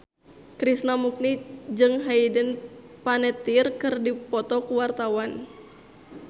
Krishna Mukti jeung Hayden Panettiere keur dipoto ku wartawan